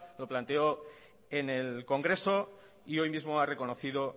lo planteó en el congreso y hoy mismo ha reconocido